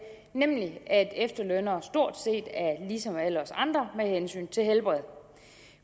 nemlig at efterlønnere stort set er ligesom alle os andre med hensyn til helbred